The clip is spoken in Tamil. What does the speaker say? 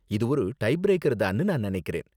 இது ஒரு டை பிரேக்கர் தான்னு நான் நினைக்கிறேன்.